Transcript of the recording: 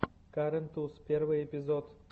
карен туз первый эпизод